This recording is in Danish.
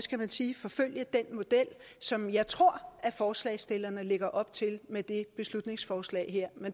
skal man sige forfølge den model som jeg tror at forslagsstillerne lægger op til med det beslutningsforslag her men